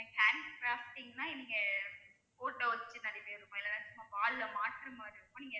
hand crafting னா நீங்க photo வெச்சு நிறைய இருக்கும் இல்லேன்னா நீங்க wall ல மாட்டர மாதிரி இருக்கும்